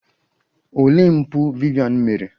Olee mpụ Vivian mere?